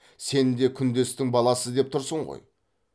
сен де күндестің баласы деп тұрсың ғой